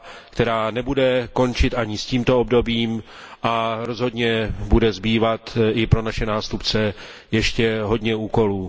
která nebude končit ani s tímto obdobím a rozhodně bude zbývat i pro naše nástupce ještě hodně úkolů.